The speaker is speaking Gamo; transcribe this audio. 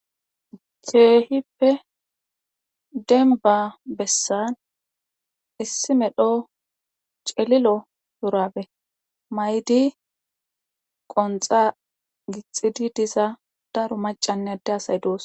keehippe denba bessan issi medho celilo shurabe maydi qonxa gixxidi diza daro macannede asay doosonaa